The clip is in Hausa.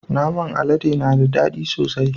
Naman alade na da dadi sosai.